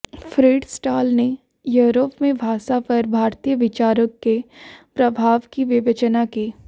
Fritz Staal ने Europe में भाषा पर भारतीय विचारों के प्रभाव की विवेचना की